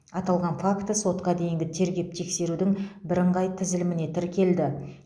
аталған факті сотқа дейінгі тергеп тексерудің бірыңғай тізіліміне тіркелді